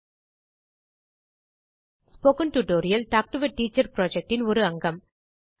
spoken tutorial talk to a teacher projectஇன் ஒரு அங்கம்